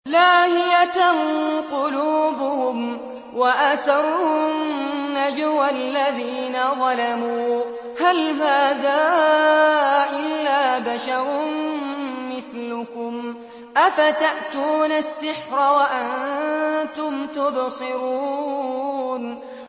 لَاهِيَةً قُلُوبُهُمْ ۗ وَأَسَرُّوا النَّجْوَى الَّذِينَ ظَلَمُوا هَلْ هَٰذَا إِلَّا بَشَرٌ مِّثْلُكُمْ ۖ أَفَتَأْتُونَ السِّحْرَ وَأَنتُمْ تُبْصِرُونَ